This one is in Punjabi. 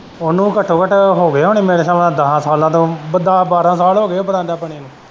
ਉਨੂੰ ਘੱਟੋ-ਘੱਟ ਹੋਗੇ ਹੁਨੇ ਮੇਰੇ ਖਿਆਲ ਨਾਲ ਦੱਸਾਂ ਸਾਲ ਤੋਂ ਦੱਸ ਬਾਰਾਂ ਸਾਲ ਹੋਗੇ ਬਰਾਂਡਾ ਬਣੇ ਨੂੰ।